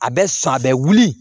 A bɛ san a bɛ wuli